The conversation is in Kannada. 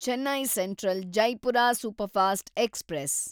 Chennai central Jaipur superfast express